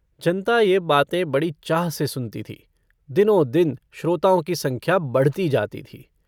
जनता यह बातें बड़ी चाह से सुनती थी। दिनों-दिन श्रोताओं की संख्या बढ़ती जाती थी।